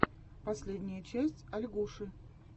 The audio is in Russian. последняя часть ольгуши